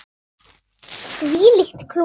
Þvílíkt klúður.